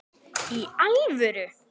Í alvöru!?